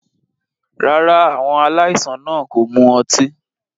Rárá, àwọn aláìsàn náà kò mu ọtí.